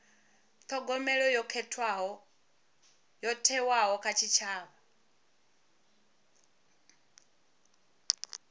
thogomelo yo thewaho kha tshitshavha